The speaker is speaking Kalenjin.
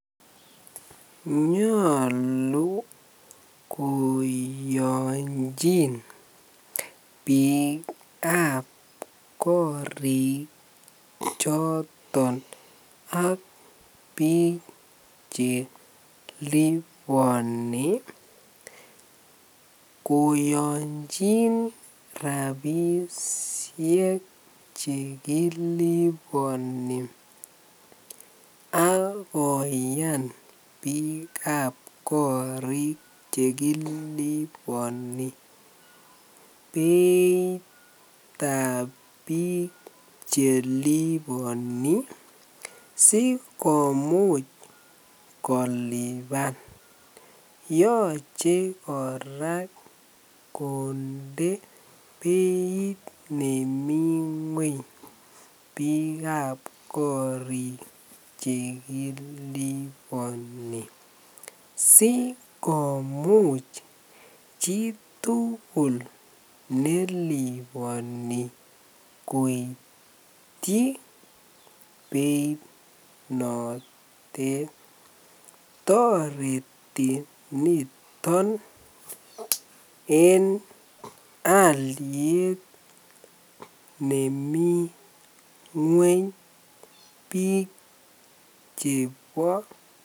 Nyolu koyonchin biikab kori choton ak biik cheliboni koyonchin rabishek chekiliboni ak koyan bikab korik chekiliboni beitab biik cheliboni sikomuch koliban, yoche kora konde beit nemii ngweny biikab korik chekiliboni sikomuch chitukul neliboni koityi beiit notet, toreti niton en aliet nemii ngweny biik chebo.